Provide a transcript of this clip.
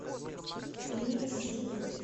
клиника сити